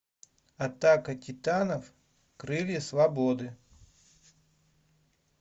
атака титанов крылья свободы